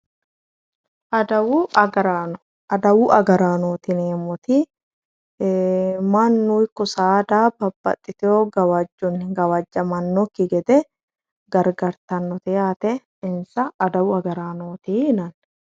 Adawu agarano, adawu agaranot yineemoti mannu iko saada babbaxitewo gawajoni gawajamanoki gede garigartanote yaate insa adawu agaraanoti yinanni